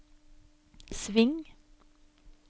sving